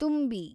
ತುಂಬಿ